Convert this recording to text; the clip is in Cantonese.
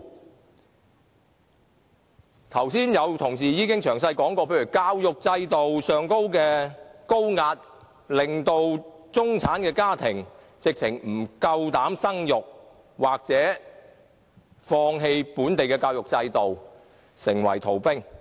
剛才已有同事詳細提到，例如教育制度的高壓，令不少中產家庭不敢生育或放棄本地教育制度，成為逃兵。